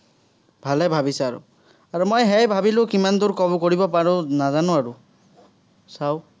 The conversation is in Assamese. ভালেই ভাৱিছা আৰু। আৰু মই সেয়াই ভাৱিলো, কিমানদুৰ cover কৰিব পাৰো, নাজানো আৰু। চাঁও।